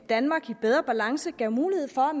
danmark i bedre balance gav mulighed for